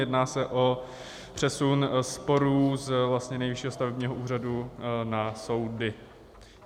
Jedná se o přesun sporů z Nejvyššího stavebního úřadu na soudy.